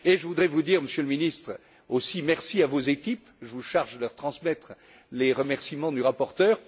Et je voudrais dire, Monsieur le Ministre, merci aussi à vos équipes, je vous charge de leur transmettre les remerciements du rapporteur.